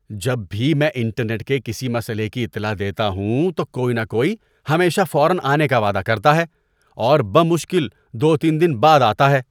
جب بھی میں انٹرنیٹ کے کسی مسئلے کی اطلاع دیتا ہوں تو کوئی نہ کوئی ہمیشہ فوراً آنے کا وعدہ کرتا ہے، اور بمشکل دو تین دن بعد آتا ہے۔